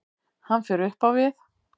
Hann fer upp á við.